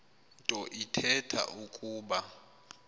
nto ithetha ukuba